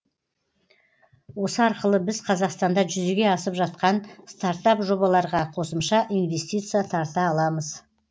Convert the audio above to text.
осы арқылы біз қазақстанда жүзеге асып жатқан стартап жобаларға қосымша инвестиция тарта аламыз